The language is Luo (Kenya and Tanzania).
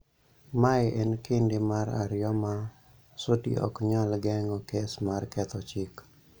Mae e kinde mar ariyo ma Sudi ok nyal geng�o kes mar ketho chik.